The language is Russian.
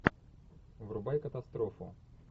врубай катастрофу